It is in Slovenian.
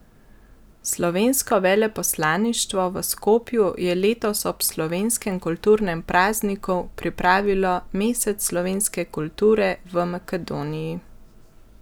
Slovensko veleposlaništvo v Skopju je letos ob slovenskem kulturnem prazniku pripravilo Mesec slovenske kulture v Makedoniji.